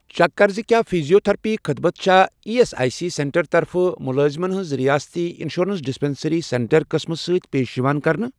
Check کر زِ کیٛاہ فیٖزیوتٔھرپی خدمت چھا E S I C centre طرفہٕ مُلٲزِمن ہِنٛز رِیٲستی اِنشورَنس ڈِسپیٚنٛسرٛی سینٹر قٕسمہٕ سۭتۍ پیش یِوان کرنہٕ؟